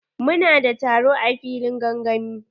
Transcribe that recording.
Mu na da taro a filin gangami.